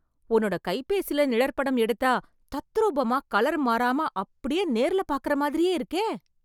உன்னோட கைபேசில நிழற்படம் எடுத்தா, தத்ரூபமா, கலர் மாறாம, அப்டியே நேர்ல பாக்கறா மாதிரியே இருக்கே...